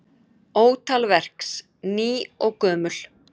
Ótal verks ný og gömul.